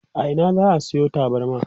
a Ina za'a Sayo tabarma?